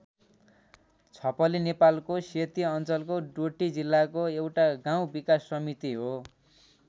छपली नेपालको सेती अञ्चलको डोटी जिल्लाको एउटा गाउँ विकास समिति हो।